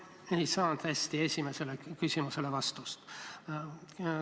Ma ei saanud oma esimesele küsimusele head vastust.